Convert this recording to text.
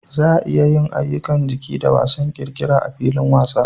Za a iya yin ayyukan jiki da wasan ƙirƙira a filin wasa.